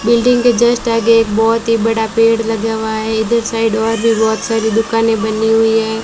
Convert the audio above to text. Building के just आगे एक बहोत ही बड़ा पेड़ लगा हुआ है इधर साइड और भी बहोत सारी दुकानें बनी हुई है।